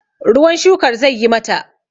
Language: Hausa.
ruwan shukar zai yi mata!